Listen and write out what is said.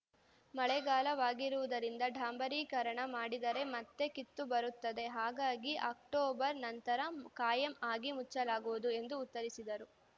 ಮಳೆಗಾಲವಾಗಿರುವುದರಿಂದ ಡಾಂಬರೀಕರಣ ಮಾಡಿದರೆ ಮತ್ತೆ ಕಿತ್ತು ಬರುತ್ತದೆ ಹಾಗಾಗಿ ಅಕ್ಟೋಬರ್‌ ನಂತರ ಕಾಯಂ ಆಗಿ ಮುಚ್ಚಲಾಗುವುದು ಎಂದು ಉತ್ತರಿಸಿದರು